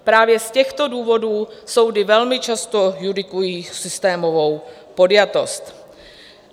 Právě z těchto důvodů soudy velmi často judikují systémovou podjatost.